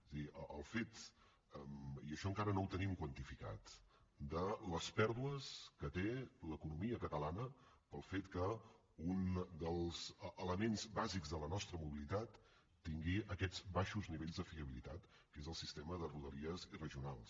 és a dir el fet i això encara no ho tenim quantificat de les pèrdues que té l’economia catalana pel fet que un dels elements bàsics de la nostra mobilitat tingui aquests baixos nivells de fiabilitat que és el sistema de rodalies i regionals